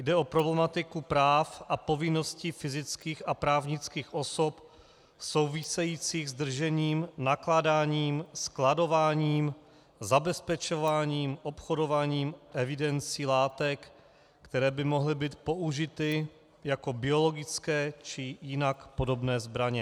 Jde o problematiku práv a povinností fyzických a právnických osob souvisejících s držením, nakládáním, skladováním, zabezpečováním, obchodování, evidencí látek, které by mohly být použity jako biologické či jinak podobné zbraně.